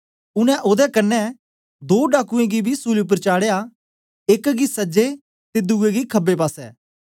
उनै ओदे कन्ने दो डाकुयें गी बी सूली उपर चाढ़या एक गी सजे ते दुए गी खबे पासे